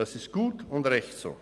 Das ist gut und recht so.